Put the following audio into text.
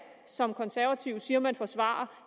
som de konservative siger man forsvarer